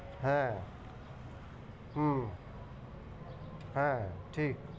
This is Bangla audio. হ্যাঁ হম হ্যাঁ ঠিক।